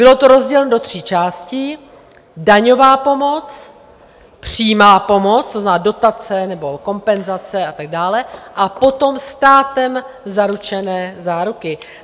Bylo to rozděleno do tří částí - daňová pomoc, přímá pomoc, to znamená dotace nebo kompenzace a tak dále, a potom státem zaručené záruky.